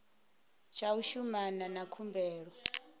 tsha u shumana na khumbelo